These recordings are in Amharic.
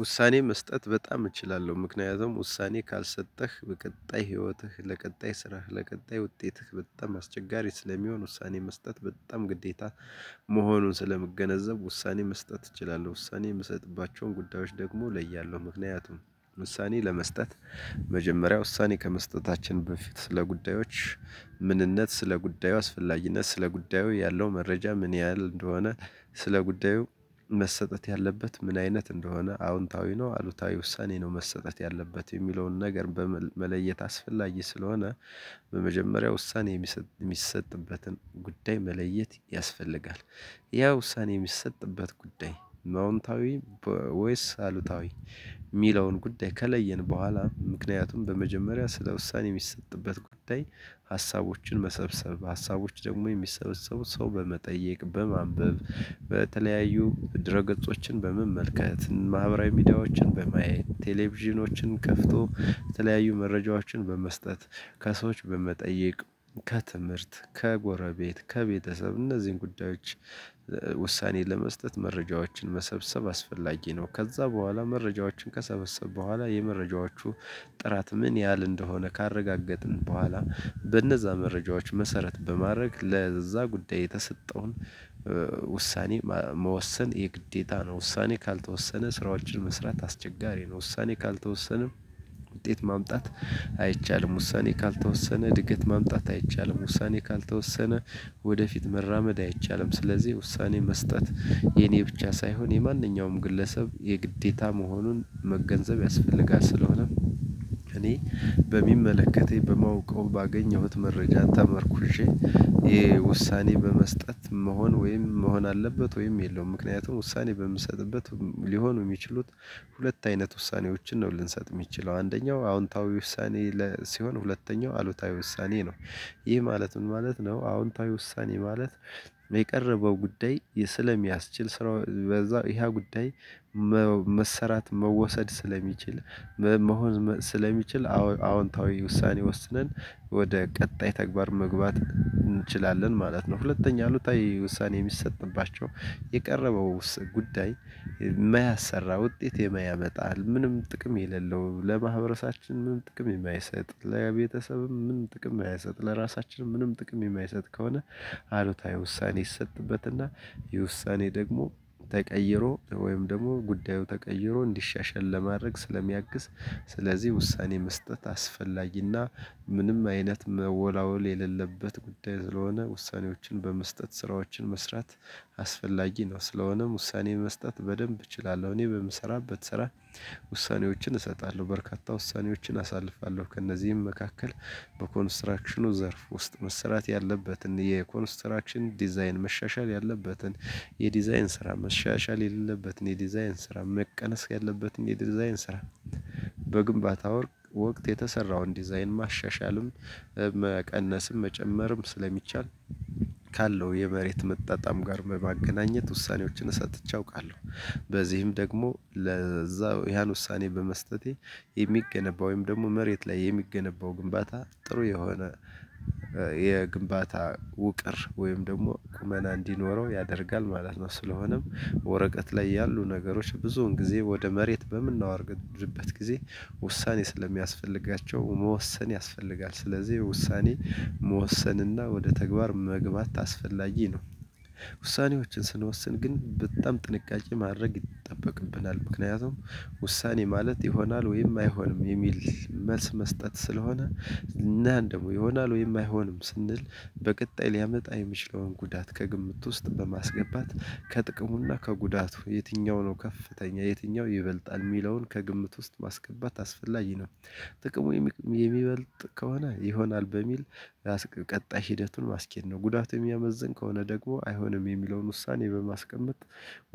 ውሳኔ መስጠት በጣም እችላለሁ ምክንያቱም ውሳኔ ካልሰጠህ በቀጣይ ህይወትህ ለቀጣይ ስራህ ለቀጣይ ውጤትህ በጣም አስቸጋሪ ስለሚሆን ውሳኔ መስጠት በጣም ግዴታ መሆኑን ስለምገነዘብ ውሳኔ መስጠት እችላለሁ። ውሳኔ የምሰጥባቸውን ጉዳዮች ደግሞ እለያለው። ምክንያቱም ውሳኔ ለመስጠት መጀመሪያ ውሳኔ ከመስጠታችን በፊት ስለ ጉዳዮች ምንነት ስለ ጉዳዩ አስፈላጊነት ስለ ጉዳዩ ያለው መረጃ ምን ያህል እንደሆነ ስለ ጉዳዩ መሰጠት ያለበት ምን አይነት እንደሆነ አዎንታዊ ነው አሉታዊ ውሳኔ ነው መሰጠት ያለበት የሚለውን ነገር መለየት አስፈላጊ ስለሆነ። በመጀመሪያው ውሳኔ የሚሰጥበትን ጉዳይ መለየት ያስፈልጋል። ያ ውሳኔ የሚሰጥበት ጉዳይ አውንታዊ ወይስ አሉታዊ? የሚለውን ጉዳይ ከለየን በኋላ ምክንያቱም በመጀመሪያ ስለ ውሳኔ የሚሰጥበት ጉዳይ ሀሳቦችን መሰብሰብ ሀሳቦች ደግሞ የሚሰበሰቡት ሰው በመጠየቅ በማንበብ በተለያዩ ድረ ገጾችን በመመልከት ማህበራዊ ሚዲያዎችን በማየት ቴሌቪዥኖችን ከፍቶ የተለያዩ መረጃዎችን በመስጠት። ከሰዎች በመጠየቅ ከትምህርት ከጎረቤት ከቤተሰብ እነዚህን ጉዳዮች ውሳኔ ለመስጠት መረጃዎችን መሰብሰብ አስፈላጊ ነው። ከዛ በኋላ መረጃዎችን ከሰበሰብኩ በኋላ የመረጃዎቹ ጥራት ምን ያህል እንደሆነ ካረጋገጥን በኋላ በነዛ መረጃዎች መሰረት በማድረግ ለዛ ጉዳይ የተሰጠውን ውሳኔ መወሰን የግዴታ ነው። ውሳኔ ካልተወሰነ ስራዎችን መስራት አስቸጋሪ ነው። ውሳኔ ካልተወሰነ ውጤት ማምጣት አይቻልም። ውሳኔ ካልተወሰነ እድገት ማምጣት አይቻልም። ውሳኔ ካልተወሰነ ወደፊት መራመድ አይቻልም። ስለዚህ ውሳኔ መስጠት የኔ ብቻ ሳይሆን የማንኛውም ግለሰብ የግዴታ መሆኑን መገንዘብ ያስፈልጋል። ስለሆነ እኔ በሚመለከተኝ በማውቀው ባገኘሁት መረጃ ተመርኩሼ ይሄ ውሳኔ በመስጠት መሆን ወይም መሆን አለበት። ወይም የለውም ምክንያቱም ውሳኔ በምሰጥበት ሊሆኑ የሚችሉት ሁለት አይነት ውሳኔዎችን ነው ልንሰጥ የምንችለው አንደኛው አዎንታዊ ውሳኔ ሲሆን ሁለተኛው አሉታዊ ውሳኔ ነው። ይህ ማለት ምን ማለት ነው? አዎንታዊ ውሳኔ ማለት የቀረበው ጉዳይ ስለሚያስችል ስራው በዛው ይሄ ጉዳይ መሰራት መወሰድ ስለሚችል መሆን ስለሚችል አዎ አዎንታዊ ውሳኔ ወስነን ወደ ቀጣይ ተግባር መግባት እንችላለን ማለት ነው። ሁለተኛ አሉታዊ ውሳኔ የሚሰጥባቸው የቀረበው ጉዳይ የማያሰራ ውጤት የማያመጣ ምንም ጥቅም የሌለው ለማህበረሰባችን ምንም ጥቅም የማይሰጥ ለቤተሰብም ምንም ጥቅም የማያሰጥ ለራሳችን ምንም ጥቅም የማይሰጥ ከሆነ። አሉታዊ ውሳኔ ይሰጥበትና የውሳኔ ደግሞ ተቀይሮ ወይም ደግሞ ጉዳዩ ተቀይሮ እንዲሻሻል ለማድረግ ስለሚያግስ። ስለዚህ ውሳኔ መስጠት አስፈላጊና ምንም አይነት መወላወል የሌለበት ጉዳይ ስለሆነ ውሳኔዎችን በመስጠት ስራዎችን መስራት አስፈላጊ ነው። ስለሆነም ውሳኔ መስጠት በደንብ እችላለሁ። እኔ በምሰራበት ስራ ውሳኔዎችን እሰጣለሁ። በርካታ ውሳኔዎችን አሳልፋለሁ ከእነዚህም መካከል በኮንስትራክሽኑ ዘርፍ ውስጥ መሰራት ያለበትን የኮንስትራክሽን ዲዛይን መሻሻል ያለበትን የዲዛይን ስራ መሻሻል የሌለበትን የዲዛይን ስራ መቀነስ ያለበትን የዲዛይን ስራ በግንባታ ወቅት የተሰራውን ዲዛይን ማሻሻልም መቀነስም መጨመርም ስለሚቻል ካለው የመሬት መጣጣም ጋር በማገናኘት ውሳኔዎችን ሰጥቼ አውቃለሁ። በዚህም ደግሞ ለዛው ያን ውሳኔ በመስጠቴ የሚገነባው ወይም ደግሞ መሬት ላይ የሚገነባው ግንባታ ጥሩ የሆነ የግንባታ ውቅር ወይም ደግሞ ቁመና እንዲኖረው ያደርጋል ማለት ነው። ስለሆነም ወረቀት ላይ ያሉ ነገሮች ብዙውን ጊዜ ወደ መሬት በምናወርድርበት ጊዜ ውሳኔ ስለሚያስፈልጋቸው መወሰን ያስፈልጋል። ስለዚህ ውሳኔ መወሰንና ወደ ተግባር መግባት አስፈላጊ ነው። ውሳኔዎችን ስንወስን ግን በጣም ጥንቃቄ ማድረግ ይጠበቅብናል። ምክንያቱም ውሳኔ ማለት ይሆናል ወይም አይሆንም የሚል መልስ መስጠት ስለሆነ። እና ደግሞ ይሆናል ወይም አይሆንም ስንል በቀጣይ ሊያመጣ የሚችለውን ጉዳት ከግምት ውስጥ በማስገባት ከጥቅሙና ከጉዳቱ የትኛው ነው ከፍተኛ የትኛው ይበልጣል የሚለውን ከግምት ውስጥ ማስገባት አስፈላጊ ነው። ጥቅሙ የሚበልጥ ከሆነ ይሆናል በሚል ራስ ቀጣይ ሂደቱን ማስኬድ ነው። ጉዳቱ የሚያመዝን ከሆነ ደግሞ አይሆንም የሚለውን ውሳኔ በማስቀመጥ።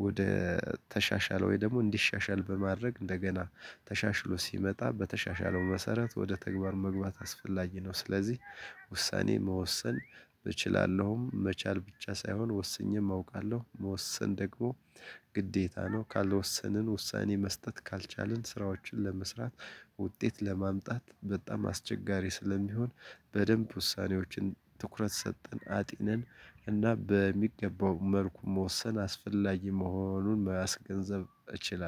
ወደ ተሻሻለ ወይ ደግሞ እንዲሻሻል በማድረግ እንደገና ተሻሽሎ ሲመጣ በተሻሻለው መሰረት ወደ ተግባር መግባት አስፈላጊ ነው። ስለዚህ ውሳኔ መወሰን እችላለሁም መቻል ብቻ ሳይሆን ወስኜም አውቃለሁ። መወሰን ደግሞ ግዴታ ነው። ካልወሰንን ውሳኔ መስጠት ካልቻልን ስራዎችን ለመስራት ውጤት ለማምጣት በጣም አስቸጋሪ ስለሚሆን። በደንብ ውሳኔዎችን ትኩረት ሰጠን አጥንን እና በሚገባው መልኩ መወሰን አስፈላጊ መሆኑን ማገንዘብ እችላለሁ